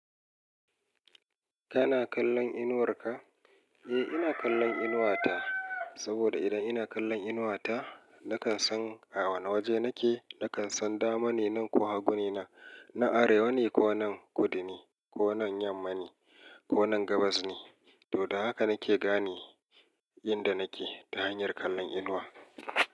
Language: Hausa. Kana kallon inuwarka? Eh, ina kallon inuwata. Saboda idan ina kallon inuwata, na kan san a wane waje nake. Na kan san dama ne nan ko hagu ne nan. Na arewa ne ko nan kudu ne, ko nan yamma ne ko nan gabas ne. To, da haka na ke gane inda nake ta hanyar kallon inuwa.